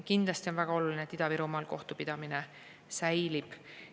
Kindlasti on väga oluline, et Ida-Virumaal kohtupidamine säilib.